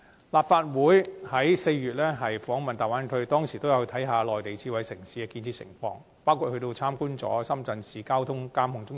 立法會在4月訪問粵港澳大灣區，當時也有參觀內地智慧城市的建設，包括參觀深圳市交警智能交通指揮中心。